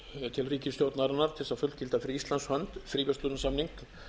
til ríkisstjórnarinnar til þess að fullgilda fyrir íslands hönd fríverslunarsamning